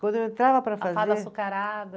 Quando eu entrava para fazer. A fada açucarada.